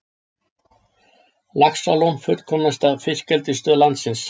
Laxalón fullkomnasta fiskeldisstöð landsins